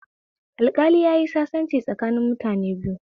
Alƙali yayi sasanci tsakanin mutane biyu